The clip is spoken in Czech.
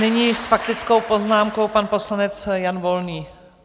Nyní s faktickou poznámkou pan poslanec Jan Volný.